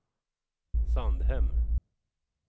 Sandhem